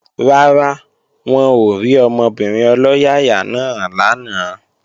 Rárá, wọn ò rí ọmọbìnrin ọlọ́yàyà náà lánàá